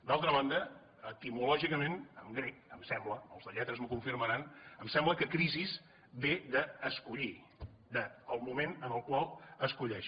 d’altra banda etimològicament en grec em sembla els de lletres m’ho confirmaran que crisi ve d’ escollir del moment en el qual esculls